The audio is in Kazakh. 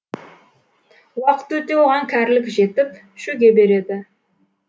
уақыт өте оған кәрілік жетіп шөге береді